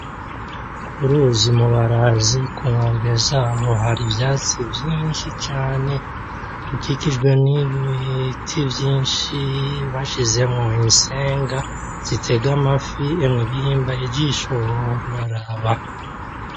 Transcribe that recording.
Ku ruzi Mubarazi ku nkombe zaho hari ivyatsi vyinshi cane. Rukikijwe n'ibiti vyinshi bashizemwo insenga zitega amafi. Emwe bihimbariye ijisho wohora uraraba